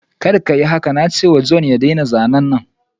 Kar kayi haka! na ce wa John jiya ya daina zanen.